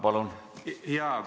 Palun!